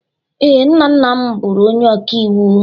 Ee, nna nna m bụrụ onye ọkàiwu